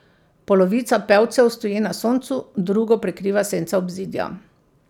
Polovica pevcev stoji na soncu, drugo prekriva senca obzidja.